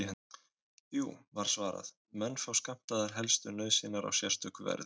Jú, var svarað, menn fá skammtaðar helstu nauðsynjar á sérstöku verði.